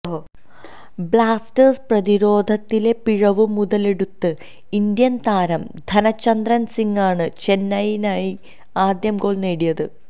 Blasters പ്രതിരോധത്തിലെ പിഴവ് മുതലെടുത്ത് ഇന്ത്യന് താരം ധനചന്ദ്ര സിങ് ആണ് ചെന്നൈയിനായി ആദ്യ ഗോള് നേടിയത്